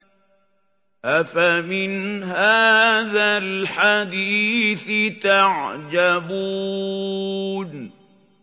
أَفَمِنْ هَٰذَا الْحَدِيثِ تَعْجَبُونَ